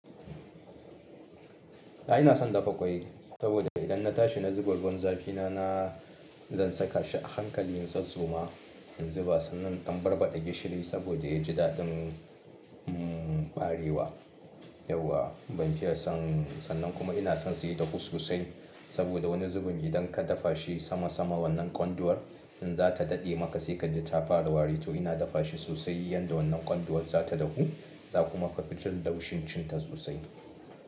Ah ina son dafa ƙwai saboda idan na tashi na zuba ruwan zafi na, na zan saka shi a hankali zan in tsatstsoma in zuba, sannan in ɗan barbaɗa gishiri saboda ya ji daɗin mm ɓarewa. Yauwa ban fiya son, sannan kuma ina son sa ya dafu sosai saboda wani zubin idan ka dafa shi sama sama wannan kwanduwar in za ta daɗe maka sai ka ji ta fara wari. To ina dafa shi sosai yanda wannan kwanduwar za ta dahu, za kuma ka fi jin laushin cin ta sosai.